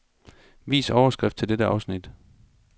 Vis overskrift til dette afsnit.